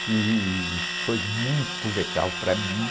Que foi muito legal para mim.